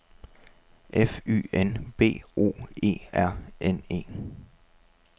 F Y N B O E R N E